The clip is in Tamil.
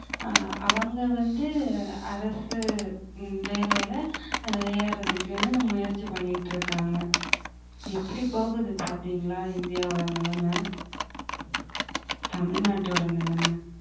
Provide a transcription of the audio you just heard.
ஆஹ் அவங்க வந்து அரசு உம் வேலையில ஏறதுக்குன்னு முயற்சி பண்ணிட்டு இருக்காங்க. எப்படி போகுது பாத்தீங்களா இந்தியாவோட நிலைமை தமிழ்நாட்டோட நிலைமை.